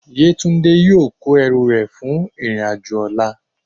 yetunde yọọ kó ẹrú rẹ fún irín ajo ọla.